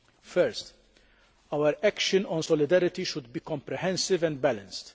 First, our action on solidarity should be comprehensive and balanced.